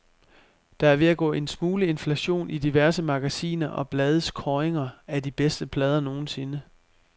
Der er ved at gå en smule inflation i diverse magasiner og blades kåringer af de bedste plader nogensinde.